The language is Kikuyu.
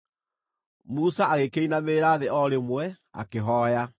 Musa agĩkĩinamĩrĩra thĩ o rĩmwe, akĩhooya.